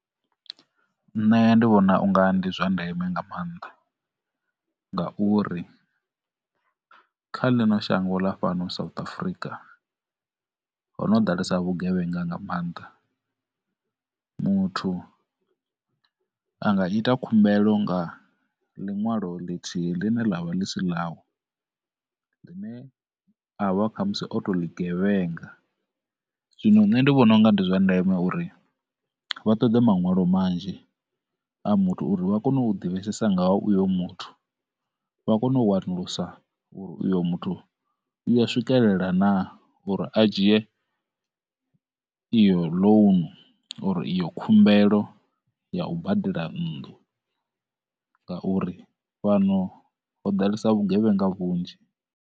Nṋe ndi vhona unga ndi zwa ndeme nga maanḓa ngauri, kha ḽino shango ḽa fhano South Africa ho no ḓalesa vhugevhenga nga maanḓa. Muthu anga ita khumbelo nga ḽiṋwalo ḽithihi ḽine ḽavha ḽi si ḽawe, ḽine avha kha musi o to ḽi gevhenga. Zwino nṋe ndi vhona u nga ndi zwa ndeme uri vha ṱoḓe maṋwalo manzhi a muthu uri vha kone u ḓivhesesa nga ha uyo muthu, vha kone u wanulusa uyo muthu uya swikelela na uri a dzhie iyo loan, iyo khumbelo ya u badela nnḓu ngauri, fhano ho ḓalesa vhugevhenga vhunzhi.